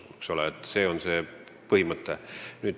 Selline on põhimõte.